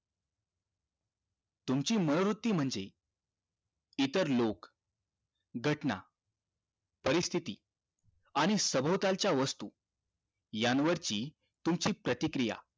तुमची मनोवृत्ती म्हणजे इतर लोग घटना परिस्थिती आणि सभोलताच्या वस्तू यांवरची तुमची प्रतिक्रिया